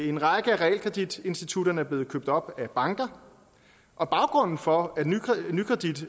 en række af realkreditinstitutterne er blevet købt op af banker og baggrunden for nykredits